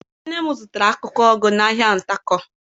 Nne m zụtara akwụkwọ ụgụ n'ahịa Utako